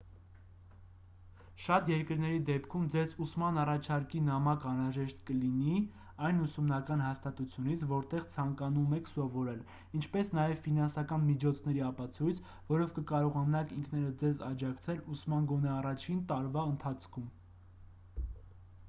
շատ երկրների դեպքում ձեզ ուսման առաջարկի նամակ անհրաժեշտ կլինի այն ուսումնական հաստատությունից որտեղ ցանկանում եք սովորել ինչպես նաև ֆինանսական միջոցների ապացույց որով կկարողանաք ինքներդ ձեզ աջակցել ուսման գոնե առաջին տարվա ընթացքում